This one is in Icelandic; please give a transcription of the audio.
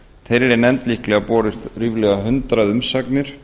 þeirri nefnd líklega borist ríflega hundrað umsagnir